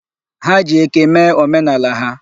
Ha ji eke mee omenala ha.